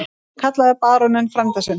Hann kallaði baróninn frænda sinn.